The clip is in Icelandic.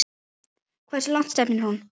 Hversu langt stefnir hún?